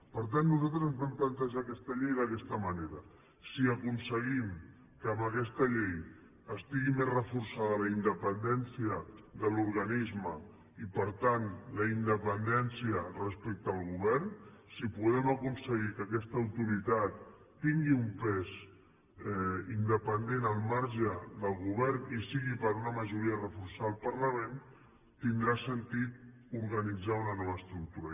per tant nosaltres ens vam plantejar aquesta llei d’aquesta manera si aconseguim que amb aquesta llei estigui més reforçada la independència de l’organisme i per tant la independència respecte al govern si podem aconseguir que aquesta autoritat tingui un pes independent al marge del govern i sigui per una majoria reforçada del parlament tindrà sentit organitzar una nova estructura